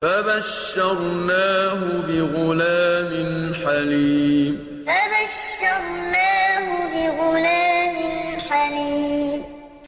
فَبَشَّرْنَاهُ بِغُلَامٍ حَلِيمٍ فَبَشَّرْنَاهُ بِغُلَامٍ حَلِيمٍ